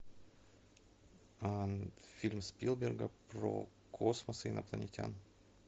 фильм спилберга про космос и инопланетян